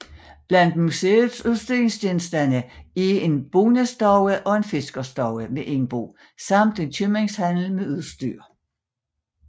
Blandt museets udstillingsgenstande er en bondestue og en fiskerstue med indbo samt en købmandshandel med udstyr